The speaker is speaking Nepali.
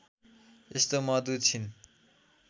यस्तो मधु छिन्